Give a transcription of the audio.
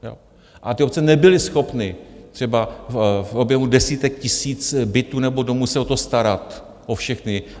A ty obce nebyly schopny třeba v objemu desítek tisíc bytů nebo domů se o to starat, o všechny.